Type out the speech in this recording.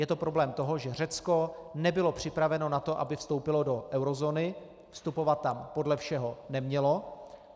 Je to problém toho, že Řecko nebylo připraveno na to, aby vstoupilo do eurozóny, vstupovat tam podle všeho nemělo.